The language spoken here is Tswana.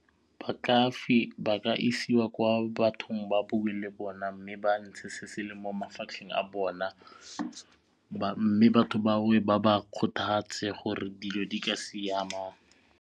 Ba ka isiwa kwa bathong ba bue le bona mme ba ntshe se se leng mo mafatlheng a bona mme batho bao ba ba kgothatse gore dilo di ka siama.